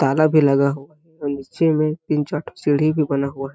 ताला भी लगा हुआ और नीचे में तीन चार सीढ़ी भी बना हुआ है।